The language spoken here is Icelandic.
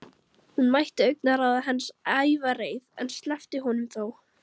Hún mætti augnaráði hans, ævareið, en sleppti honum þó.